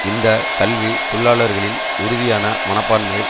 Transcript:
இந்த கல்வி தொழிலாளர்களின் உறுதியான மனப்பான்மை